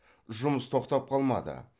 жұмыс тоқтап қалмады